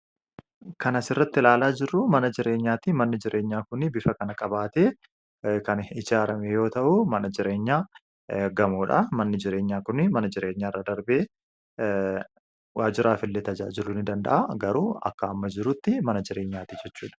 kana sirratti ilaalaa jirruu mana jireenyaatti manni jireenyaa kun bifa kan kabaatee kan ijhaarame yoo ta'uu mana jireenyaa gamoodha manni jireenyaa kun mana jireenya irra darbee waajiraaf illee tajaajiluun danda'a garuu akka amma jiruutti mana jireenyaati jechuudha